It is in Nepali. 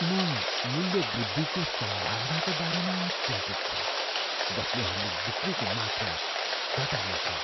म मूल्य वृद्धिको सम्भावनाको बारेमा चिन्तित छु जसले हाम्रो बिक्रीको मात्रा घटाउनेछ।